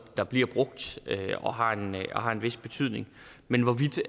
der bliver brugt og har og har en vis betydning men hvorvidt